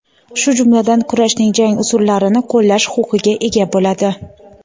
shu jumladan kurashning jang usullarini qo‘llash huquqiga ega bo‘ladi:.